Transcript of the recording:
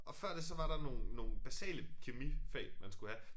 Og før det så var der nogle nogle basale kemifag man skulle have